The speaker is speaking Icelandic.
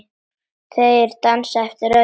Þeir dansa eftir öðrum nótum.